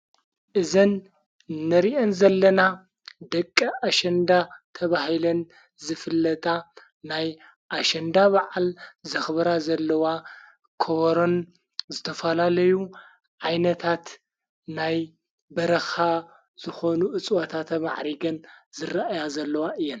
እዘን ነሪአን ዘለና ደቂ ኣሸንዳ ተብሂለን ዝፍለጣ ናይ ኣሸንዳ ባዓል ዘኽብራ ዘለዋ ክወሮን ዘተፋላለዩ ዓይነታት ናይ በረኻ ዝኾኑ እጽወታተ መዕሪገን ዝረእያ ዘለዋ እየን::